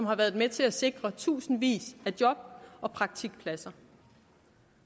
har været med til at sikre tusindvis af job og praktikpladser